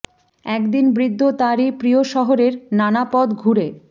একদিন বৃদ্ধ তার এই প্রিয় শহরের নানা পথ ঘুরে